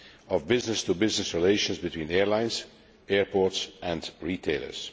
of business to business relations between airlines, airports and retailers.